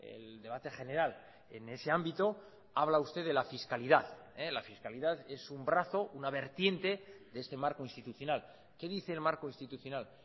el debate general en ese ámbito habla usted de la fiscalidad la fiscalidad es un brazo una vertiente de este marco institucional qué dice el marco institucional